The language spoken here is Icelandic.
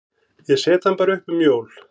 Ég set hann bara upp um jól.